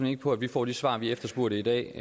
ikke på at vi får de svar vi efterspurgte i dag